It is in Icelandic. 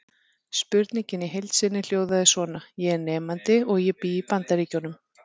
Spurningin í heild sinni hljóðaði svona: Ég er nemandi og ég bý í Bandaríkjum.